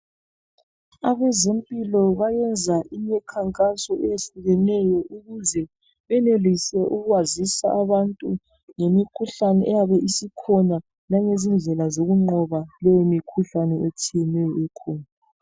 Abezempilo bayenza imikhankaso eyehlukeneyo ukuze benelise ukwazisa abantu ngemikhuhlane eyabe isikhona langezindlela zokunqoba leyo mikhuhlane etshiyeneyo ekhona.